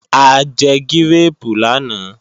A jẹ gírèèpù lánàá